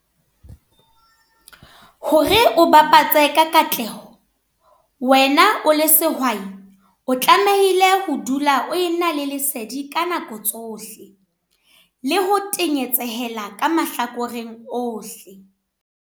Hore o bapatse ka katleho, wena o le sehwai o tlamehile ho dula o ena le lesedi ka nako tsohle, le ho tenyetsehela ka mahlakoreng ohle.